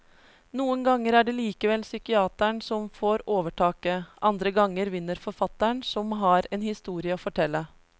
Noen ganger er det likevel psykiateren som får overtaket, andre ganger vinner forfatteren som har en historie å fortelle.